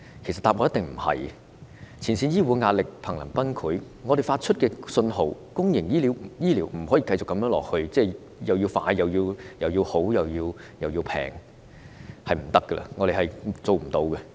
前線醫護人員在壓力下瀕臨崩潰，他們表示公營醫療不可繼續這樣下去，既要快又要好，還要便宜，他們真的做不到。